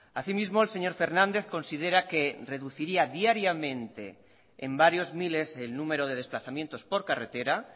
asimismo el señor fernández considera que reduciría diariamente en varios miles el número de desplazamientos por carretera